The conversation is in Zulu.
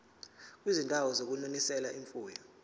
kwizindawo zokunonisela imfuyo